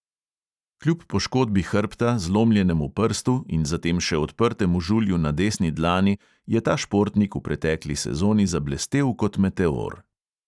Kljub poškodbi hrbta, zlomljenemu prstu in za tem še odprtemu žulju na desni dlani je ta športnik v pretekli sezoni zablestel kot meteor.